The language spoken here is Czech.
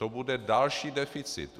To bude další deficit.